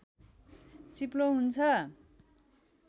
चिप्लो हुन्छ